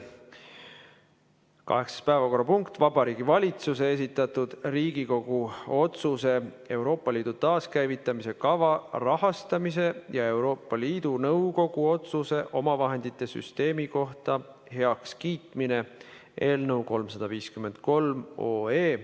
Kaheksas päevakorrapunkt on Vabariigi Valitsuse esitatud Riigikogu otsuse "Euroopa Liidu taaskäivitamise kava rahastamise ja Euroopa Liidu Nõukogu otsuse omavahendite süsteemi kohta heakskiitmine" eelnõu esimene lugemine.